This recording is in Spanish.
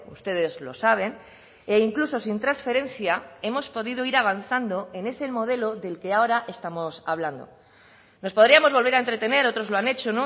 ustedes lo saben e incluso sin transferencia hemos podido ir avanzando en ese modelo del que ahora estamos hablando nos podríamos volver a entretener otros lo han hecho